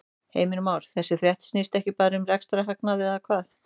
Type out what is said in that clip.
Heimir Már: Þessi frétt snýst ekki bara um rekstrarhagnað eða hvað?